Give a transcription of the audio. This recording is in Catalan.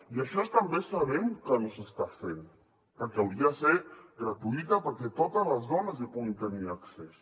i això també sabem que no s’està fent perquè hauria de ser gratuïta perquè totes les dones hi puguin tenir accés